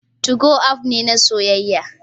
2go app ne na soyayya